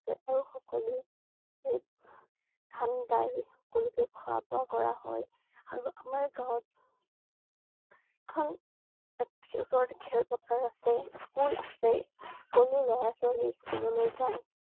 আৰু সকলোৱে ধান দাই সকলোকে খোৱা বোৱা কৰা হয়। আৰু আমাৰ গাঁৱত এখন~ওচৰতে খেলপথাৰ আছে। স্কুল আছে, সকলো লৰা ছোৱালী স্কুললৈ জাই।